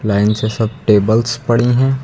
Lines से सब tables पड़ी है।